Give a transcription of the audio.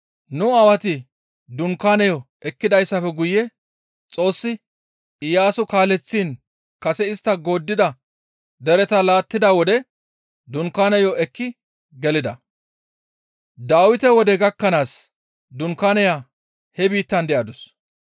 Nu Aawati dunkaaneyo ekkidayssafe guye Xoossi Iyaaso kaaleththiin kase istta gooddida dereta laattida wode dunkaaneyo ekki gelida; Dawite wode gakkanaas dunkaaneya he biittan de7adus.